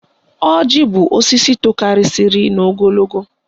Ọjị bụ osisi tokarisiri n'ogologo